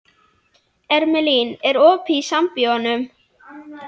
Irmelín, er opið í Sambíóunum?